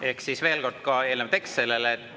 Ehk siis veel kord ka eelnev tekst sellele.